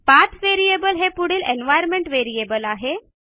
पाठ व्हेरिएबल हे पुढील एन्व्हायर्नमेंट व्हेरिएबल आहे